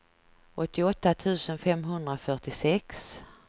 åttioåtta tusen femhundrafyrtiosex